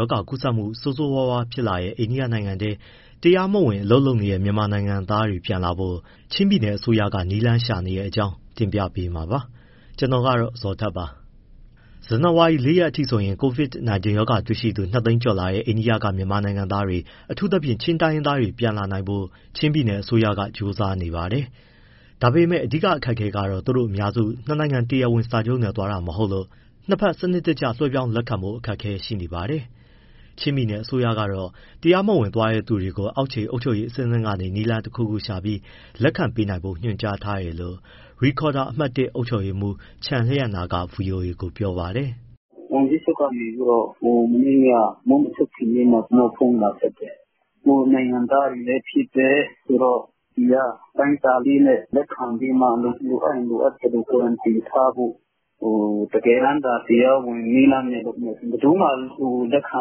ရောဂါကူးစက်ပျံ့နှံ့မှု ဆိုးဆိုးဝါးဝါးဖြစ်လာတဲ့ အိန္ဒိယနိုင်ငံထဲ အလုပ်လုပ်နေတဲ့တရားမဝင် မြန်မာနိုင်ငံသားတွေ ပြန်လာနိုင်ဖို့၊ ချင်းပြည်နယ်အစိုးရက နည်းလမ်းရှာနေတဲ့အကြောင်းကို ဗွီအိုအေ မြန်မာပိုင်းသတင်းထောက် ကိုဇော်ထက်က တင်ပြပေးမှာပါ။ ဇွန်လ ၄ ရက် အထိ ဆိုရင် COVID-19 ရောဂါပိုးတွေ့ရှိသူ ၂၀၀,၀၀၀ ကျော်လာတဲ့ အိန္ဒိယက မြန်မာနိုင်ငံသားတွေ၊ အထူးသဖြင့် ချင်းတိုင်းရင်းသားတွေ ပြန်လာနိုင်ဖို့ ချင်းပြည်နယ် အစိုးရက ကြိုးစားနေပါတယ်။ ဒါပေမဲ့ အဓိကအခက်အခဲကတော့ သူတို့အများစုက နှစ်နိုင်ငံ တရားဝင်စာချုပ်နဲ့ သွားတာ မဟုတ်လို့ နှစ်ဘက်စနစ်တကျ လွှဲပြောင်း လက်ခံဖို့ အခက်အခဲရှိနေပါတယ်။ ချင်းပြည်နယ် အစိုးရကတော့ တရားမဝင်သွားတဲ့သူတွေကို အောက်ခြေ အုပ်ချုပ်ရေး အဆင့်ဆင့်ကနေ နည်းလမ်း တခုခုရှာပြီး လက်ခံပေးနိုင်ဖို့ ညွှန်ကြားထားတယ်လို့ ရိဒ်ခေါ်ဒါ အမှတ် ၁ အုပ်ချုပ်ရေးမှူး ချန်လျန်နာက ဗွီအိုအေကို ပြောပါတယ်။ “ဝန်ကြီးချုပ်က မနေ့က မိုးမချုပ်ခင်လေးမှာ ကျနော့်ဖုန်းဆက်တယ်၊ ကိုယ့်နိုင်ငံသားတွေလည်းဖြစ်တယ်ဆိုတော့ ဒီက အတိုင်းအတာလေးနဲ့ လက်ခံပြီးမှ လိုအပ်ရင် လိုအပ်သလို quarantine ထားဖို့။ တကယ်တမ်းသာ တရားဝင်နည်းလမ်းနဲ့ လုပ်မယ်ဆိုရင် ဘယ်သူမှ လက်ခံ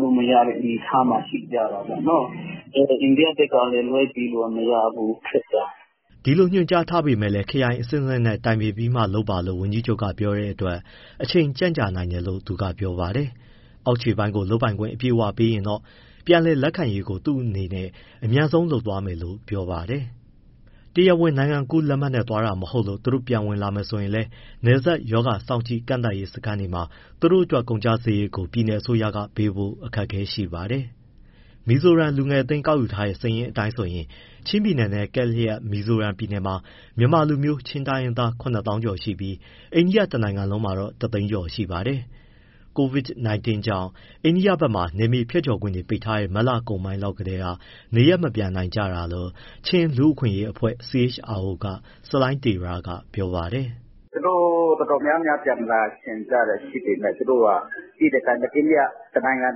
လို့မရတဲ့ အနေအထားမှာ ရှိကြတာပေါ့နော်။ အိန္ဒိယဘက်ကလည်း လွှဲပေးလို့ မရဘူး... ခက်တာ။” ဒီလိုညွှန်ကြားထားပေမဲ့ ခရိုင်အဆင့်ဆင့်နဲ့ တိုင်ပင်ပြီးမှလုပ်ပါလို့ ဝန်ကြီးချုပ်က ပြောတဲ့အတွက် အချိန်ကြာနိုင်တယ်လို့ သူကပြောပါတယ်။ အောက်ခြေပိုင်းကို လုပ်ပိုင်ခွင့်အပြည့်ပေးလိုက်ရင်တော့ ပြန်လည်လက်ခံရေးကို သူ့အနေနဲ့ အမြန်ဆုံးလုပ်သွားမယ်လို့ ပြောပါတယ်။ တရားဝင်နိုင်ငံကူးလက်မှတ်နဲ့ သွားတာ မဟုတ်လို့ သူတို့ပြန်ဝင်လာမယ်ဆိုရင်လည်း နယ်စပ် ရောဂါစောင့်ကြည့်၊ ကန့်သတ်စခန်းတွေမှာ သူတို့အတွက် ကုန်ကျစရိတ်ကိုပြည်နယ်အစိုးရက ပေးဖို့ အခက်အခဲ ရှိနေပါတယ်။ မီဇိုရမ်လူငယ်အသင်း ကောက်ယူထားတဲ့ စာရင်းအတိုင်းဆိုရင် ချင်းပြည်နယ်နဲ့ကပ်လျက် မီဇိုရမ်ပြည်နယ်မှာ မြန်မာလူမျိုး၊ ချင်းတိုင်းရင်းသား ၇၀,၀၀၀ ကျော်ရှိပြီး၊ အိန္ဒိယတနိုင်ငံလုံးမှာတော့ ၁၀၀,၀၀၀ ကျော်ရှိပါတယ်။ COVID-19 ကြောင့် အိန္ဒိယဘက်မှာ နယ်မြေဖြတ်ကျော်ခွင့် ပိတ်ထားတဲ့ မတ်လကုန်ပိုင်းလောက်ကတည်းက နေရပ်မပြန်နိုင်တာလို့ ချင်းလူ့အခွင့်အရေးအဖွဲ့ CHRO က ဆလိုင်းတေရ က ပြောပါတယ်။ “သူတို့ တော်တော်များများ ပြန်လာချင်ကြတာရှိပေမဲ့ သိတဲ့အတိုင်းပဲ အိန္ဒိယ တနိုင်ငံ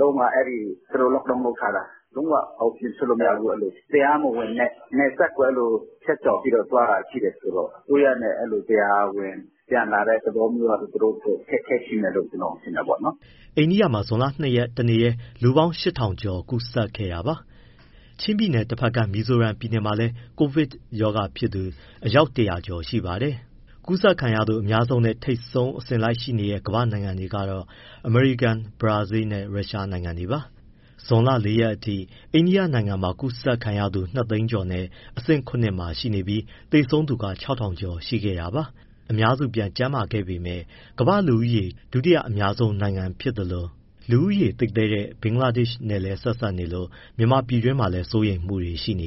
လုံးက အဲဒီ Lockdown လုပ်ထားတာ လုံးဝအပြင်ထွက်လို့မရဘူး။ တရားမဝင်နယ်စပ်ကို ဖြတ်ကျော်ပြီး သွားတာဆိုတော့ အစိုးရနဲ့တရားဝင် ပြန်လာတဲ့ သဘောမျိုးကလည်း သူတို့အတွက် အခက်အခဲရှိမယ်လို့ ကျနော်ထင်တယ်။” အိန္ဒိယမှာ ဇွန်လ ၂ရက် တနေ့တည်း လူပေါင်း ၈,၀၀၀ ကျော်ကူးစက်ခဲ့တာပါ။ ချင်းပြည်နယ်တဘက်ကမ်း မီဇိုရမ်ပြည်နယ်မှာလည်း COVID-19 ဖြစ်တဲ့သူ အယောက် ၁၀၀ ကျော်ရှိပါတယ်။ ကူးစက်ခံရသူအများဆုံးနဲ့ ထိပ်ဆုံးမှာ အစဉ်လိုက်ရှိနေတဲ့ ကမ္ဘာ့နိုင်ငံတွေကတော့ အမေရိကန်၊ ဘရာဇီးနဲ့ ရုရှနိုင်ငံတွေပါ။ ဇွန်လ ၄ ရက်အထိ အိန္ဒိယနိုင်ငံမှာ ကူးစက်ခံရသူ၂၀၀,၀၀၀ ကျော်နဲ့ အဆင့် ၇ မှာရှိနေပြီး သေဆုံးသူ ၆,၀၀၀ ကျော်ရှိခဲ့တာပါ။ အများစု ပြန်ကျန်းမာခဲ့ပေမဲ့ ကမ္ဘာ့လူဦးရေ ဒုတိယ အများဆုံးနိုင်ငံ ဖြစ်သလို လူနေသိပ်သည်းတဲ့ ဘင်္ဂလားဒေ့ရှ်နဲ့လည်း ဆက်စပ်နေလို့ မြန်မာပြည်တွင်းမှာလည်း စိုးရိမ်မှုတွေ ရှိနေ